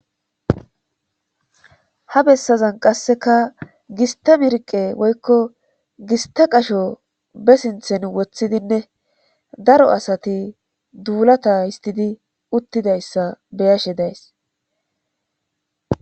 ha bessazan qasseka giste mirqe woykko gista qasho be sinthen woththidinne daro asati duulata histidi uttidayssa beyashe days